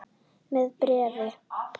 Með bréfi.